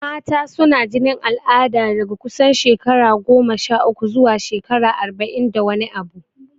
Mata suna jinin al'ada daga kusan shekara goma sha uku zuwa shekara arba'in da wani abu.